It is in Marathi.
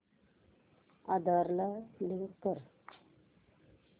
आधार ला लिंक कर